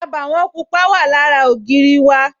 Àbàwọ̀n pupa wà lára ògiri náà